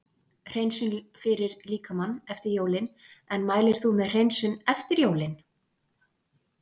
Hreinsun fyrir líkamann eftir jólin En mælir þú með hreinsun eftir jólin?